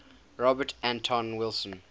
robert anton wilson